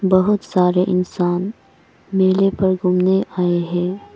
बहुत सारे इंसान मेले पर घूमने आए हैं।